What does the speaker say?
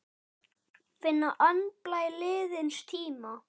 Finna andblæ liðins tíma.